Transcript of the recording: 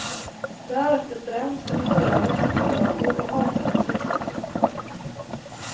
Därefter bränns eventuella restupplagor och marknaden släpps lös.